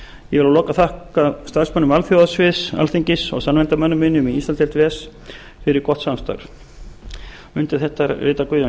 ég við að lokum þakka starfsmönnum alþjóðasviðs alþingis og samnefndarmönnum mínum í íslandsdeild ves fyrir gott samstarf undir þetta rita guðjón